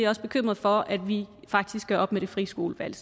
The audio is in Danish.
også bekymrede for at vi faktisk gør op med det frie skolevalg